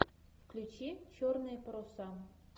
включи черные паруса